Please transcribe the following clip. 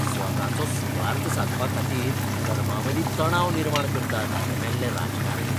स्वताचो सुवार्थ सादपा खातीर धर्मांमदीं तणाव निर्माण करतात हे मेल्ले राजकारणी!